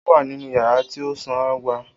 O wa ninu yara ti o sanra.